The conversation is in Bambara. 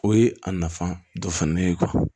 O ye a nafa dɔ fana ye